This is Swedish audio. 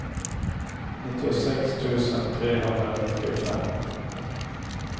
nittiosex tusen trehundranittiofem